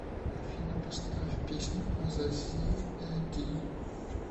афина поставь песню азазиэди